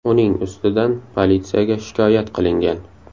Uning ustidan politsiyaga shikoyat qilingan.